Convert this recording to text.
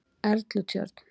Erlutjörn